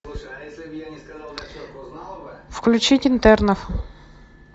включить интернов